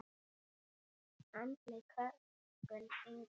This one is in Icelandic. Andleg kölkun: engin.